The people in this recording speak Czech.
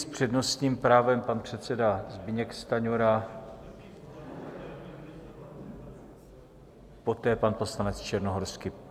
S přednostním právem pan předseda Zbyněk Stanjura, poté pan poslanec Černohorský.